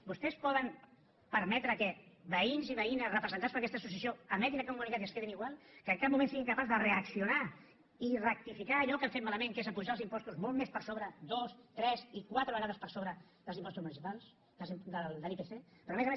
vostès poden permetre que veïns i veïnes representats per aquesta associació emetin aquest comunicat i es quedin igual que en cap moment siguin capaços de reaccionar i rectificar allò que han fet malament que és apujar els impostos molt més per sobre dos tres i quatre vegades per sobre de l’ipc però a més a més